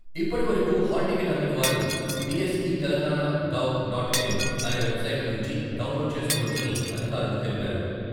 ఇప్పటి వరకు హాల్ టికెట్లు అందని వారు BSE Telangana gov dot in అనే వెబ్సైటు నుంచి డౌన్లోడ్ చేసుకోవచ్చని అధికారులు తెలిపారు.